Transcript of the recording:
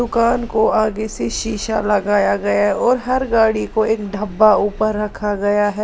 दुकान को आगे से शीशा लगाया गया और हर गाड़ी को एक ढब्बा ऊपर रखा गया है।